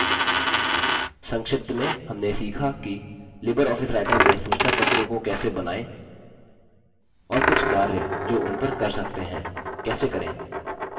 संक्षिप्त में हमने सीखा कि लिबर ऑफिस writer में सूचनापत्रों को कैसे बनाएँ और कुछ कार्य जो उन पर कर सकते हैं कैसे करें